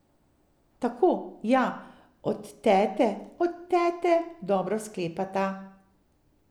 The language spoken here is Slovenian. Tako, ja, od tete, od tete, dobro sklepata.